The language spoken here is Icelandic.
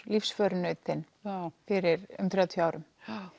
lífsförunaut þinn fyrir um þrjátíu árum